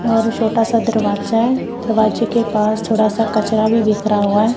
और छोटा सा दरवाजा दरवाजे के पास थोड़ा सा कचरा भी बिखरा हुआ है।